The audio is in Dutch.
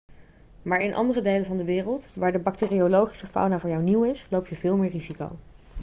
maar in andere delen van de wereld waar de bacteriologische fauna voor jou nieuw is loop je veel meer risico